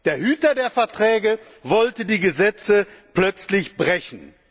Der Hüter der Gesetze wollte die Gesetze plötzlich brechen.